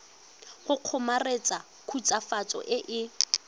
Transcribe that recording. go kgomaretsa khutswafatso e e